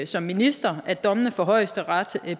som minister at dommene fra højesteret